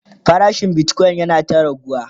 farashin Bitcoin yana ta raguwa